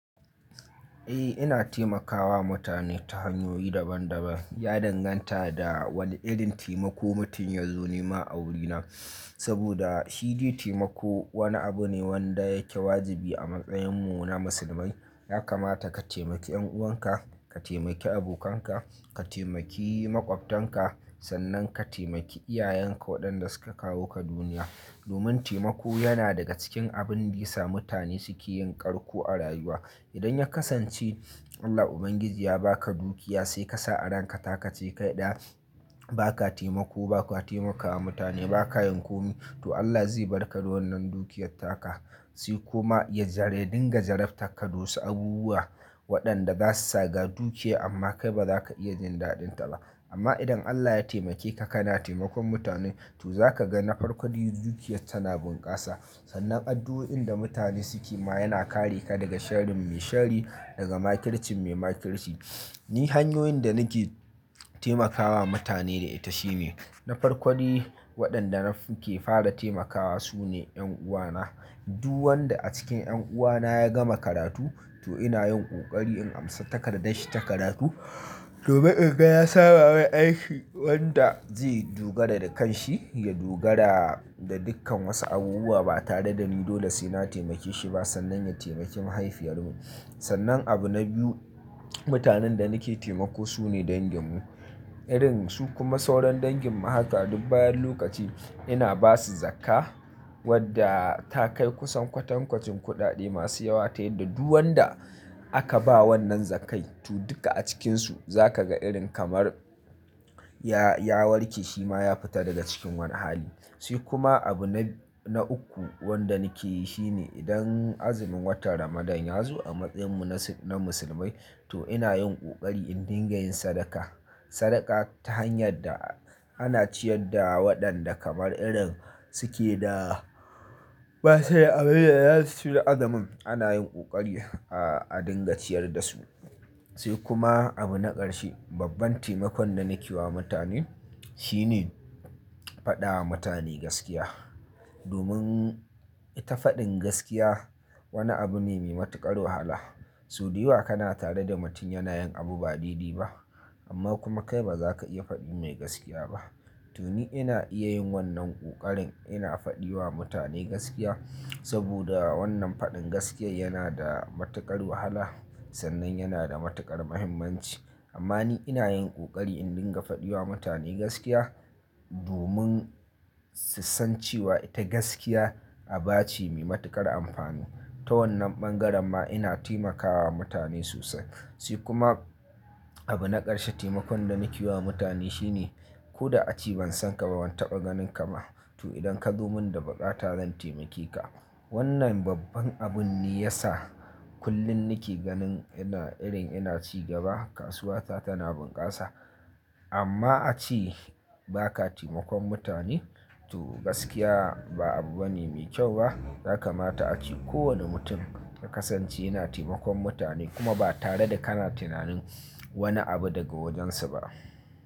Eh ina taimakawa mutane ta hanyoyi daban daban. Ya danganta da wane irin taimako mutum ya zo ni ma a wurina. Saboda shi dai taimako wani abu ne wanda yake wajibi a matsayin mu na musulmai. Ya kamata ka taimaki 'yan'uwan ka, ka taimaki abokanka, ka taimaki maƙwabtanka, sannan ka taimaki iyayenka waɗanda suka kawo ka duniya. Domin taimako yana daga cikin abin bisa mutane suke yin ƙarƙo a rayuwa. Idan ya kasance Allah Ubangiji ya ba ka dukiya sai ka sa a ranka ta ka ce kai ɗaya ba ka taimako ba, ba ka taimakawa mutane ba ka yin komi to Allah zai barka da wannan dukiyar taka. Sai kuma ya zare dinga jaraftan ka da wasu abubuwa waɗanda za su sa ga dukiya amma kai ba za ka iya jin daɗin ta ba. Amma idan Allah ya taimake ka kana taimakon mutane to za ka ga na farko dukiyar tana bunƙasa. Sannan addu'o'in da mutane suke ma yana kare ka daga sharin mai shari, daga makircin mai makirci. Ni hanyoyin da nake taimakawa mutane ita shine na farko waɗanda nake fara taimakawa sune 'yan'uwa na. Du wanda a cikin 'yan'uwa na ya gama karatu to ina yin ƙoƙari in amsa takardar shi ta karatu. Domin in ga na sama mai aiki wanda zai dogara da kan shi, ya dogara da dukkan wasu abubuwa ba tare da ni dole sai na taimake shi ba sannan ya taimaki mahaifiyar mu. Sannan abu na biyu mutanen da nake taimako su ne dangin mu. Irin su kuma sauran dangin mu haka duk bayan lokaci ina ba su zakkah wadda ta kai kusan kwatan kwacin kuɗaɗe masu yawa. Ta yadda du wanda aka ba wannan zakkai to duka a cikinsu za ka ga irin kamar ya, ya warke shi ma ya fita daga cikin wani hali. Sai kuma abu na, na uku wanda nike yi shi ne idan azumin watan Ramadan ya zo a matsayin mu na Musulmai to ina yin ƙoƙari in dinga yin sadaka. Sadaka ta hanyar da ana ciyar da waɗanda kamar irin suke da basuda abin da za su ci da azumin ana yin ƙoƙari a dinga ciyar da su. Sai kuma abu na ƙarshe, babban taimakon da nake wa mutane shi ne faɗa wa mutane gaskiya. Domin ita faɗin gaskiya wani abu ne mai matuƙar wahala. So dayawa kana tare da mutum yana yin abu ba daidai ba amma kuma kai ba za ka iya faɗi mai gaskiya ba. To ni ina iya yin wannan ƙoƙarin ina faɗi wa mutane gaskiya saboda wannan faɗin gaskiya yana da matuƙar wahala sannan yana da matuƙar muhimmanci. Amma ni ina yin ƙoƙari in dinga faɗi wa mutane gaskiya domin sussancewa ita gaskiya aba ce mai matuƙar amfani. Ta wannan ɓangaren ma ina taimakawa mutane sosai. Sai kuma abu na ƙarshe taimakon da nike yi wa mutane shi ne ko da a ce ban san ka ba ban taɓa ganin ka ba to idan ka zo mun da baƙata zan taimake ka. Wannan babban abun ne ya sa kullum nake ganin ina irin ina ci gaba kasuwa ta tana bunƙasa. Amma a ci ba ka taimakon mutane to gaskiya ba abu bane mai kyau ba. Ya kamata a ce kowane mutum ya kasance yana taimakon mutane kuma ba tare da kana tunanin wani abu daga wajen su ba.